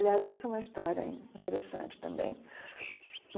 Aliás, isso é uma história interessante também.